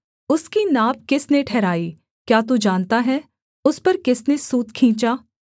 उसकी नाप किसने ठहराई क्या तू जानता है उस पर किसने सूत खींचा